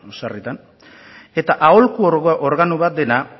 sarritan eta aholku organo bat dena